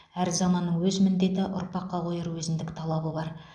әр заманның өз міндеті ұрпаққа қояр өзіндік талабы бар